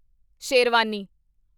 sherwani